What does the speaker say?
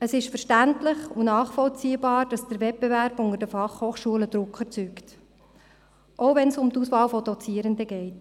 Es ist verständlich und nachvollziehbar, dass der Wettbewerb unter den Fachhochschulen Druck erzeugt, auch wenn es um die Auswahl der Dozierenden geht.